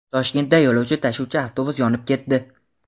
Toshkentda yo‘lovchi tashuvchi avtobus yonib ketdi.